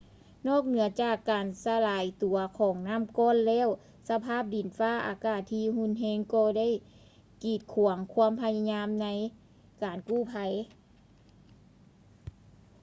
ນອກເໜືອຈາກການສະຫຼາຍຕົວຂອງນໍ້າກ້ອນແລ້ວ ສະພາບດິນຟ້າອາກາດທີ່ຮຸນແຮງກໍໄດ້ກີດຂວາງຄວາມພະຍາຍາມໃນການກູ້ໄພ